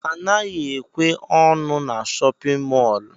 Anaghị ekwe ọnụ n' shóppin mol.